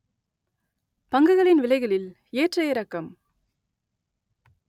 பங்குகளின் விலைகளில் ஏற்ற இறக்கம்!